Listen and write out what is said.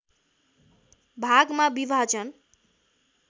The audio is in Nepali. भागमा विभाजन